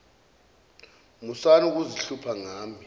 musani ukuzihlupha ngami